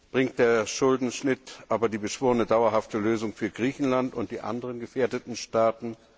Bringt der Schuldenschnitt aber die beschworene dauerhafte Lösung für Griechenland und die anderen gefährdeten Staaten?